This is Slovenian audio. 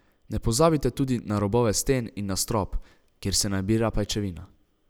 Ne pozabite tudi na robove sten in na strop, kjer se nabira pajčevina.